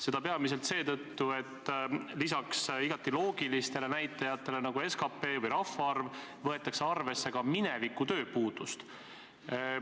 Seda peamiselt seetõttu, et lisaks igati loogilistele näitajatele, nagu SKP või rahvaarv, võetakse arvesse ka mineviku tööpuudust.